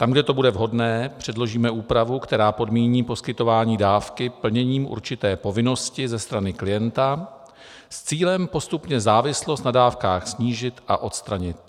Tam, kde to bude vhodné, předložíme úpravu, která podmíní poskytování dávky plněním určité povinnosti ze strany klienta s cílem postupně závislost na dávkách snížit a odstranit.